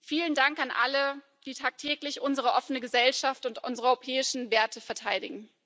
Vielen Dank an alle, die tagtäglich unsere offene Gesellschaft und unsere europäischen Werte verteidigen.